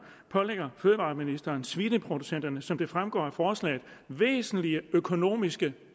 pålægger fødevareministeren svineproducenterne som det fremgår af forslaget væsentlige økonomiske